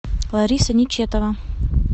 лариса нечетова